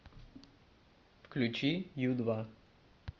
включи ю два